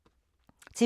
TV 2